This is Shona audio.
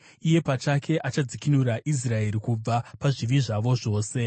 Iye pachake achadzikinura Israeri kubva pazvivi zvavo zvose.